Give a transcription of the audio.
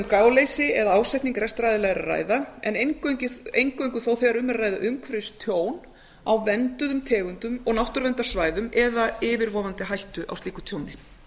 gáleysi eða ásetning rekstraraðila er að ræða en eingöngu þó þegar um er að ræða umhverfistjón á vernduðum tegundum og náttúruverndarsvæðum eða yfirvofandi hættu á slíku tjóni